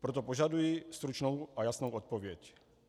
Proto požaduji stručnou a jasnou odpověď.